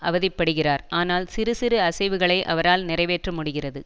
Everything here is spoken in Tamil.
அவதிப்படுகிறார் ஆனால் சிறு சிறு அசைவுகளை அவரால் நிறைவேற்ற முடிகிறது